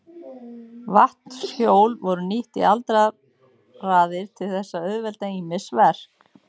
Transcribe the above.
Vatnshjól voru nýtt í aldaraðir til þess að auðvelda ýmis verk.